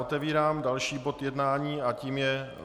Otevírám další bod jednání a tím je